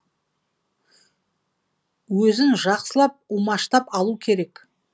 өзін жақсылап умаштап алу керек